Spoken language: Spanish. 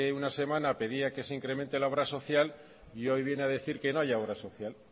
una semana pedía que se incremente la obra social y hoy viene a decir que no haya obra social